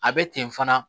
A bɛ ten fana